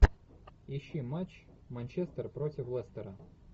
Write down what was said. ищи матч манчестер против лестера